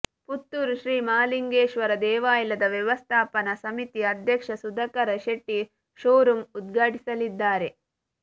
ಪುತ್ತೂರು ಶ್ರೀಮಹಾಲಿಂಗೇಶ್ವರ ದೇವಾಲಯದ ವ್ಯವಸ್ಥಾಪನಾ ಸಮಿತಿ ಅಧ್ಯಕ್ಷ ಸುಧಾಕರ ಶೆಟ್ಟಿ ಶೋರೂಮ್ ಉದ್ಘಾಟಿಸಲಿದ್ದಾರೆ